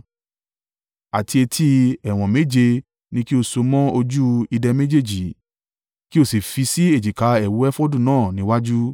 àti etí ẹ̀wọ̀n méje ni kí o so mọ́ ojú ìdè méjèèjì, kí o sì fi sí èjìká ẹ̀wù efodu náà níwájú.